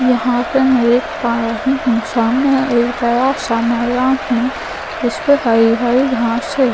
यहाँ पर मैं देख पा रही हूँ सामने एक बड़ा सा मैदान है जिस पर हरी हरी घास है --